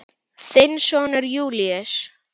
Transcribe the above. Þinn sonur Júlíus.